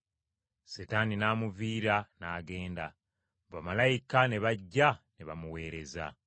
Setaani n’amuviira n’agenda. Bamalayika ne bajja ne bamuweereza.